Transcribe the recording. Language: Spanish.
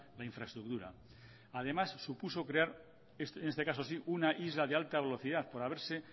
la infraestructura además supuso crear en este caso sí una isla de alta velocidad por haberse